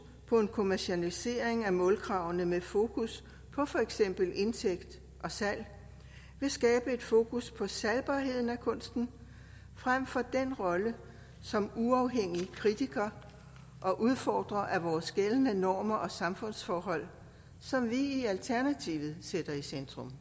på en kommercialisering af målkravene med fokus på for eksempel indtægt og salg vil skabe et fokus på salgbarheden af kunsten frem for den rolle som uafhængige kritikere og udfordrere af vores gældende normer og samfundsforhold som vi i alternativet sætter i centrum